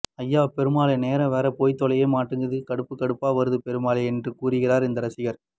அய்யோ பெருமாளே நேரம் வேற போய்த் தொலைய மாட்டேங்குது கடுப்பு கடுப்பா வருது பெருமாளே என்று கூறுகிறார் இந்த ரசிகர்